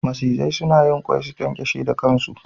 Macizai suna yin ƙwai, su ƙyanƙyashe da ƙan su.